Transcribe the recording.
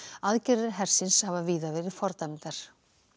aðgerðir hersins hafa víða verið fordæmdar